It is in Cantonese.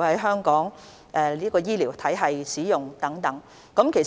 在香港醫療體系使用。